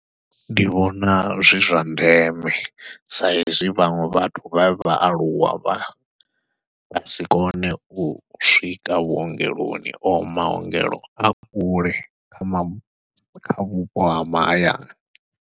Ndi vhona zwi zwa ndeme, sa izwi vhaṅwe vhathu vhe vhaaluwa vha nga si kone u swika vhuongeloni o maongelo a kule kha vhupo ha mahayani.